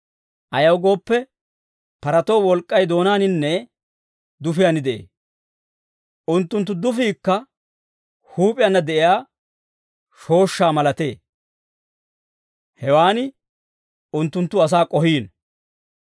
Ayaw gooppe, paratoo wolk'k'ay doonaaninne dufiyaan de'ee. Unttunttu dufiikka huup'iyaanna de'iyaa shooshshaa malatee; hewan unttunttu asaa k'ohiino.